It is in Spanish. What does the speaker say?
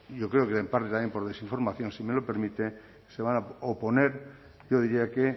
yo creo que en parte también por desinformación si me lo permite se van a oponer yo diría que